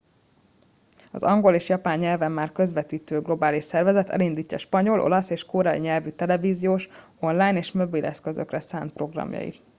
az angol és japán nyelven már közvetítő globális szervezet elindítja spanyol olasz és koreai nyelvű televíziós online és mobileszközökre szánt programjait